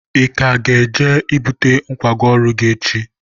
ị ka ga-eje bute nkwago ọrụ gị echi?